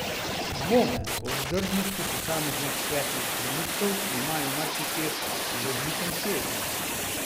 Dvome o vzdržnosti posameznih svetlih trenutkov imajo marsikje v razvitem svetu.